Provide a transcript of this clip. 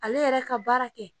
Ale yɛrɛ ka baara kɛ